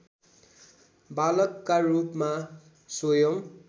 बालकका रूपमा स्वयम्